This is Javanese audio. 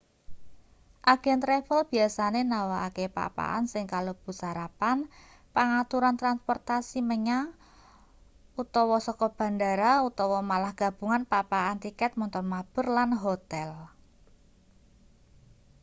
agen travel biasane nawakake pak-pakan sing kalebu sarapan pangaturan transportasi menyang/saka bendara utawa malah gabungan pak-pakan tiket montor mabur lan hotel